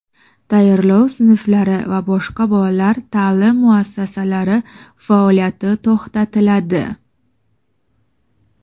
tayyorlov sinflari va boshqa bolalar ta’lim muassasalari faoliyati to‘xtatiladi.